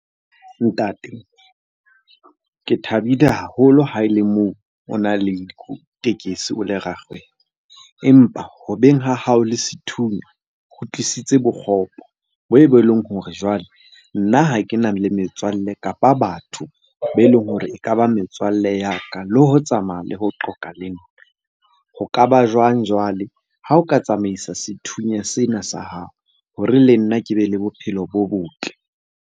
Ntate, ke thabile haholo ha ele moo o na le tekesi, o le rakgwebo. Empa ho beng ha hao le sethunya ho tlisitse bokgopo e leng hore jwale nna ha ke na le metswalle, kapa batho be leng hore ekaba metswalle ya ka, le ho tsamaya le ho qoqa le nna. Ho ka ba jwang jwale ha o ka tsamaisa sethunya sena sa hao hore le nna ke be le bophelo bo botle.